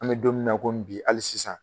An bɛ don min na komi bi hali sisan